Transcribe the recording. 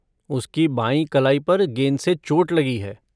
उसकी बाईं कलाई पर गेंद से चोट लगी है।